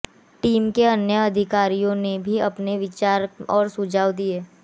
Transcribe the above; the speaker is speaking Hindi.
टीम के अन्य अधिकारियों ने भी अपने विचार और सुझाव दिए